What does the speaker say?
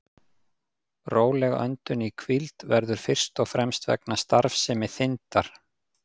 Róleg öndun í hvíld verður fyrst og fremst vegna starfsemi þindar.